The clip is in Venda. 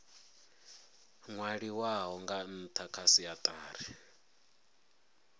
nwaliwaho nga ntha kha siatari